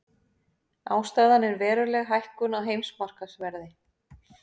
Ástæðan er veruleg hækkun á heimsmarkaðsverði